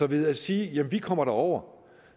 ved at sige at vi kommer derover